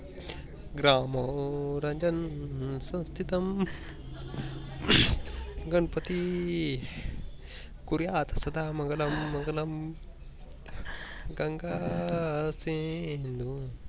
ग्रामो रजन स्वास्ति तम गणपती कुरया साधा मंगलम गंगा शिंधू